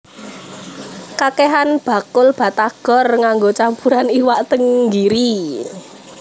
Kakehan bakul batagor nganggo campuran iwak tenggiri